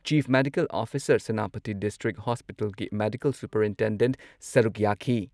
chief medical officer, Senapati district ꯍꯣꯁꯄꯤꯇꯥꯜꯒꯤ medical superintendent ꯁꯔꯨꯛ ꯌꯥꯈꯤ